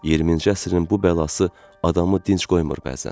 20-ci əsrin bu bəlası adamı dinc qoymur bəzən.